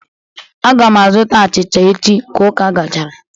Aga m azụta achịcha echi ka ụka gachara.